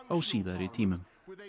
á síðari tímum